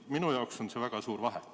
Minu jaoks on siin väga suur vahe.